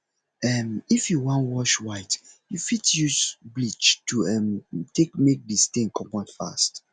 um if you wan wash white you fit use bleach to um take make di stain comot fast